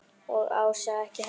Og Ása ekki heldur.